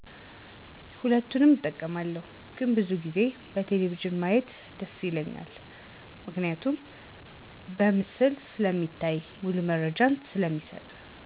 ሁለቱንም እጠቀማለሁ ግን ብዙ ጊዜ በቴሌቪዥን ማየት ደስ ይለኛል ምክንያቱም በምስል ስለሚታይና ሙሉ መረጃ ስለሚሰጥ።